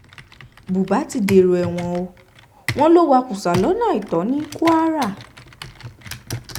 buba ti dèrò ẹ̀wọ̀n o wọn ló wá kùsà lọ́nà àìtọ́ ní kwara